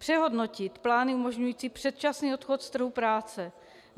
Přehodnotit plány umožňující předčasný odchod z trhu práce.